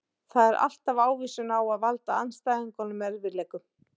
Það er alltaf ávísun á að valda andstæðingunum erfiðleikum.